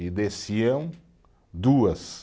E desciam duas.